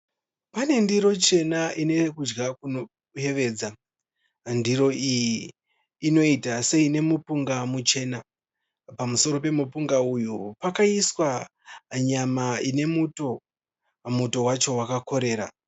Pane ndiro chena inekudya kunoyevedza. Ndiro iyi inoita seine mupunga muchena. Pamusoro pemupunga uyu pakaiswa nyama ine muto, muto wacho wakakorera.